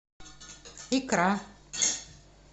икра